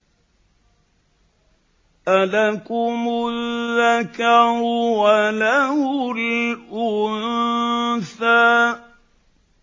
أَلَكُمُ الذَّكَرُ وَلَهُ الْأُنثَىٰ